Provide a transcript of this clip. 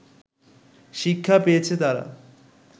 শিক্ষা পেয়েছে তারা